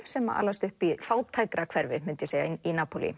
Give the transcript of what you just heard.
sem alast upp í fátækrahverfi í